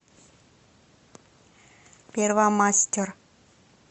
первомастер